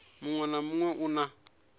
muṅwe na muṅwe u na